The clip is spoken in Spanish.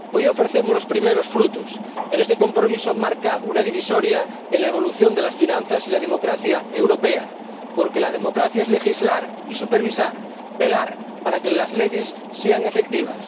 Hoy ofrecemos los primeros frutos, pero este compromiso marca una divisoria en la evolución de las finanzas y la democracia europea, porque la democracia es legislar y supervisar, velar para que las leyes sean efectivas.